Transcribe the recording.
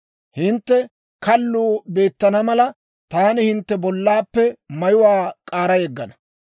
Hintte kalluu beettana mala, taani hintte bollaappe mayuwaa k'aara yeggana.